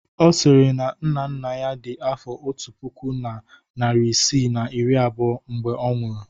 Ọ sịrị na nna nna ya dị afọ otu puku na narị isii na iri abụọ mgbe ọ nwụrụ.